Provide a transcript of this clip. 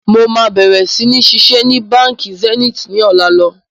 Mo máa bẹ̀rẹ̀ si ni ṣiṣẹ́ ni Báńkì Zenith ni ọ̀la lọ.